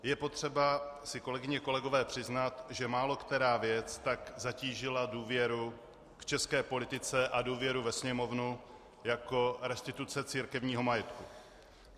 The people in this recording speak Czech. Je potřeba si, kolegyně a kolegové, přiznat, že málokterá věc tak zatížila důvěru k české politice a důvěru ve Sněmovnu jako restituce církevního majetku.